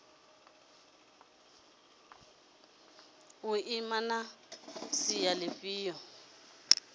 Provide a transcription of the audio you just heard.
u ima na sia lifhio